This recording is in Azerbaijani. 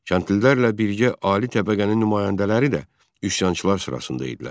Kəndlilərlə birgə ali təbəqənin nümayəndələri də üsyançılar sırasında idilər.